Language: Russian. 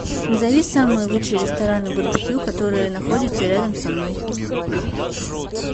назови самые лучшие рестораны барбекю которые находятся рядом со мной